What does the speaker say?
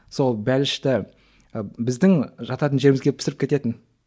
сол бәлішті і біздің жататын жерімізге пісіріп кететін